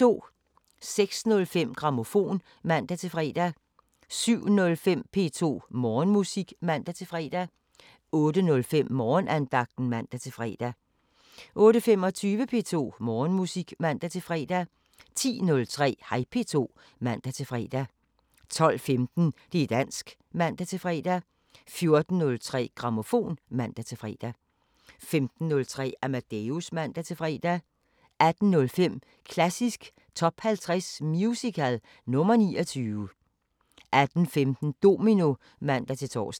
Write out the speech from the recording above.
06:05: Grammofon (man-fre) 07:05: P2 Morgenmusik (man-fre) 08:05: Morgenandagten (man-fre) 08:25: P2 Morgenmusik (man-fre) 10:03: Hej P2 (man-fre) 12:15: Det´ dansk (man-fre) 14:03: Grammofon (man-fre) 15:03: Amadeus (man-fre) 18:05: Klassisk Top 50 Musical – nr. 29 18:15: Domino (man-tor)